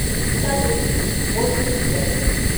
салют восемью пять